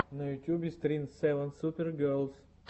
на ютьюбе стрим севен супер герлс